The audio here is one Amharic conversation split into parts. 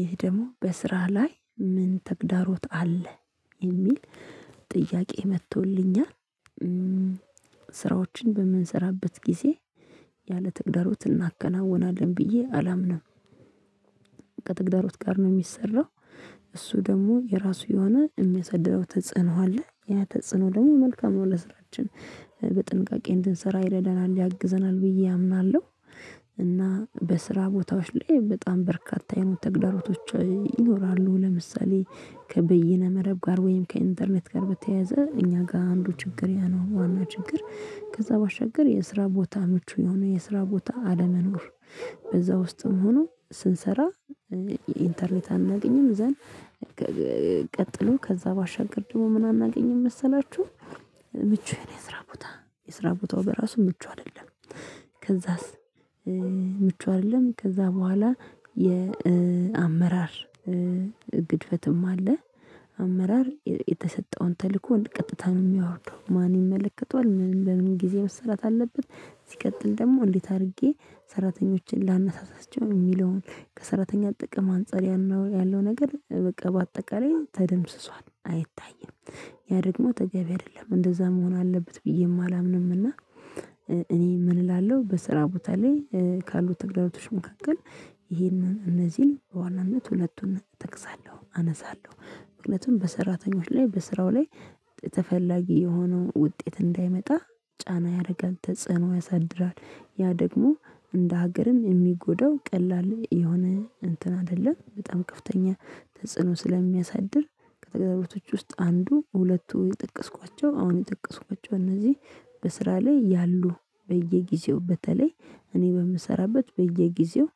ይህ ደግሞ በስራህ ላይ ምን ተግዳሮት አለ የሚል ጥያቄ መጥቶልኛል። ስራዎችን በምንሰራበት ጊዜ ያለ ተግዳሮት እናከናውናለን ብዬ አላምንም። ከተግዳሮት ጋር ነው የሚሰራው። እሱ ደግሞ የራሱ የሆነ የሚያሳድረው ተጽዕኖ አለ ያ ተጽዕኖ ደግሞ መልካም ነው ለስራችን በጥንቃቄ እንድንሰራ የራዳናል ያግዘናል ብዬ አምናለሁ። እና በስራ ቦታዎች ላይ በጣም በርካታ የሆኑ ተግዳሮቶች ይኖራሉ። ለምሳሌ ከበይነ መረብ ጋር ወይም ከኢንተርኔት ጋር በተያያዘ እኛ ጋር አንዱ ችግር ያኖረው ማና ችግር ከዛ ባሻግር የስራ ቦታ ምቹ የሆነ የስራ ቦታ አለመኖር። በዛ ውስጥም ሆኖ ስንሰራ የኢንተርኔት አናገኝም ዘን። ቀጥሎ ከዛ ባሻገር ደግሞ ምን አናገኝም መሰላችሁ? ምቹ የሆነ የስራ ቦታ የስራ ቦታው በራሱ ምቹ አይደለም። ከዛስ ምቹ አይደለም ከዛ በኋላ የአመራር ግድፈትም አለ። አመራር የተሰጠውን ተልእኮ ወደ ቀጥታ ነው የሚያወርደው ማን ይመለከተዋል ምን ለምን ጊዜ መሰራት አለበት? ሲቀጥል ደግሞ እንዴት አድርጌ ሰራተኞችን ላነሳሳቸው የሚለውን ከሰራተኛው ጥቅም አንፃር ያለው ነገር በቃ በአጠቃላይ ተደምስሷል አይታይም። ያ ደግሞ ተገቢ አይደለም እንደዛ መሆን አለበት ብዬ አላምንም። እና እኔ ምን እላለሁ በስራ ቦታ ላይ ካሉት ተግዳሮቶች መካከል ይሄንን እነዚህን በዋናነት ሁለቱን እጠቅሳለሁ አነሳለሁ። ምክንያቱም በሰራተኞች ላይ በስራው ላይ ተፈላጊ የሆነውን ውጤት እንዳይመጣ ጫና ያደርጋል ተጽዕኖ ያሳድራል ያ ደግሞ እንደ ሀገርም የሚጎዳው ቀላል የሆነ እንትን አይደለም በጣም ከፍተኛ ተጽዕኖ ስለሚያሳድር። ከተገዛበቶች ውስጥ አንዱ ሁለቱ የጠቀስኳቸው አሁን የጠቀስኳቸው እነዚህ። በስራ ላይ ያሉ በየጊዜው በተለይ እኔ በምሰራበት በየጊዜው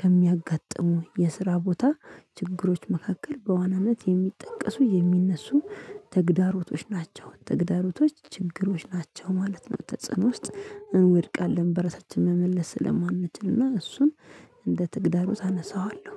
ከሚያጋጥሙ የስራ ቦታ ችግሮች መካከል በዋናነት የሚጠቀሱ የሚነሱ ተግዳሮቶች ናቸው ተግዳሮቶች ችግሮች ናቸው ማለት ነው። ተጽዕኖ ውስጥ እንወድቃለን በረሳችን መመለስ ስለማንችልና እሱም እንደ ተግዳሮት አነሳዋለሁ